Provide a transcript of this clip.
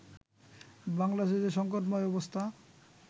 বাংলাদেশে যে সংকটময় অবস্থা